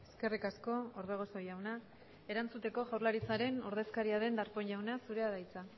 eskerrik asko orbegozo jauna erantzuteko jaurlaritzaren ordezkaria den darpón jauna zurea da hitza